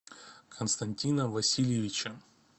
константина васильевича